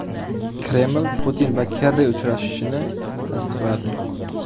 Kreml Putin va Kerri uchrashishini tasdiqladi.